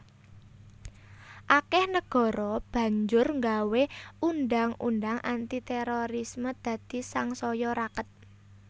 Akèh negara banjur nggawé undhang undhang anti térorisme dadi sangsaya raket